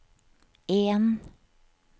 en